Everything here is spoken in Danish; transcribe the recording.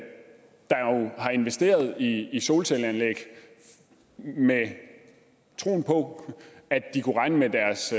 har investeret i i solcelleanlæg med troen på at de kunne regne med deres